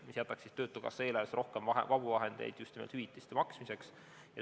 See jätaks töötukassa eelarvesse rohkem vabu vahendeid just nimelt hüvitiste maksmiseks.